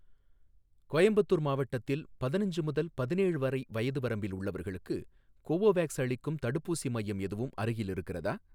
கோயம்புத்தூர் மாவட்டத்தில் பதினஞ்சு முதல் பதினேழு வரை வயது வரம்பில் உள்ளவர்களுக்கு கோவோவேக்ஸ் அளிக்கும் தடுப்பூசி மையம் எதுவும் அருகில் இருக்கிறதா?